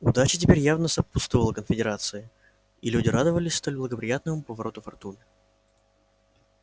удача теперь явно сопутствовала конфедерации и люди радовались столь благоприятному повороту фортуны